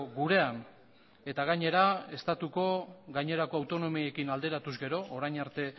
gurean eta gainera estatuko gainerako autonomiekin alderatuz gero orain arte